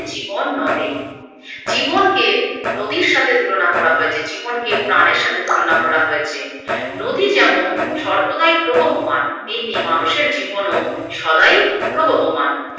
জীবন নদে, জীবনকে নদীর সাথে তুলনা করা হয়েছে, জীবনকে প্রাণের সাথে তুলনা করা হয়েছে, নদী যেমন সর্বদাই প্রবহমান তেমনি মানুষের জীবনও সদাই প্রবহমান।